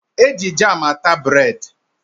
Eji jamu ata bred.